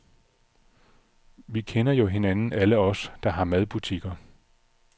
Vi kender jo hinanden alle os, der har madbutikker.